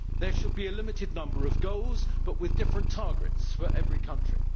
There should be a limited number of goals with different targets for each country.